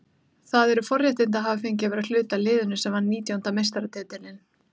Það eru forréttindi að hafa fengið að vera hluti af liðinu sem vann nítjánda meistaratitilinn.